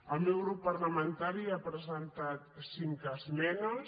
el meu grup parlamentari hi ha presentat cinc esme·nes